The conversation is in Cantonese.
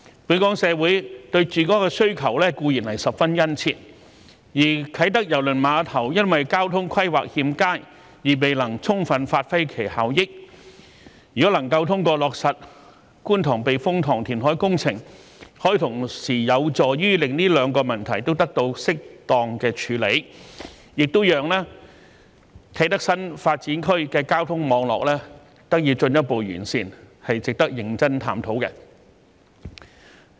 本港社會對住屋的需求固然十分殷切，而啟德郵輪碼頭因為交通規劃欠佳而未能充分發揮其效益，如果能夠通過落實觀塘避風塘填海工程，可以同時有助於令這兩個問題都得到適當的處理，亦讓啟德新發展區的交通網絡得以進一步改善，是值得認真探討的。